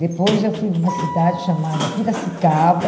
Depois eu fui para uma cidade chamada Piracicaba.